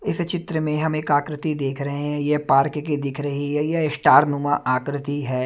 इस चित्र में हम एक आकृति देख रहे हैं ये पार्क की दिख रही है ये स्टार नुमा आकृति है।